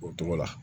O tɔgɔ la